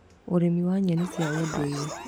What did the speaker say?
Ũrĩmi wa nyeni cia ũndũire